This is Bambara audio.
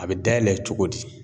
A bɛ dayɛlɛ cogo di?